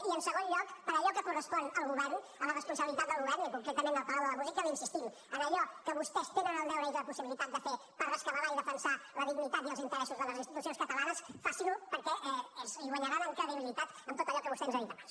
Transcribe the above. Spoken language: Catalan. i en segon lloc per allò que correspon al govern a la responsabilitat del govern i concretament al palau de la música li insistim en allò que vostès tenen el deure i la possibilitat de fer per rescabalar i defensar la dignitat i els interessos de les institucions catalanes facin ho perquè hi guanyaran en credibilitat en tot allò que vostè ens ha dit abans